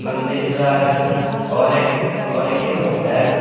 मंदिर का रंग ऑरेंज और येलो है।